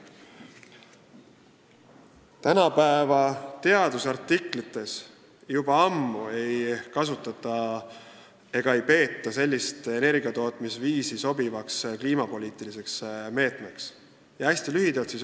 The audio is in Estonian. Tänapäeva teadusartiklites ei peeta sellist energiatootmisviisi enam ammu sobivaks kliimapoliitiliseks lahenduseks.